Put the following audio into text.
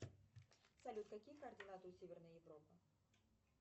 салют какие координаты у северной европы